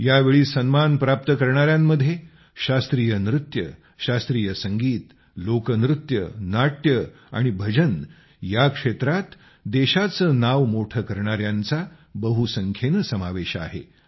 या वेळी सन्मान प्राप्त करणाऱ्यांमध्ये शास्त्रीय नृत्य शास्त्रीय संगीत लोकनृत्य नाट्य आणि भजन ह्या क्षेत्रांत देशाचे नाव मोठे करणाऱ्यांचा बहुसंख्येने समावेश आहे